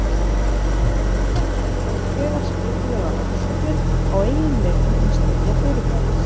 Röntgen hóf þegar skipulegar rannsóknir á eiginleikum hins nýja fyrirbæris.